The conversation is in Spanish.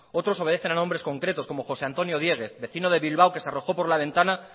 otros obedecen a nombres concretos como jose antonio diéguez vecino de bilbao que se arrojó por la ventana